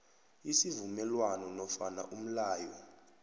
isivumelwano nofana umlayo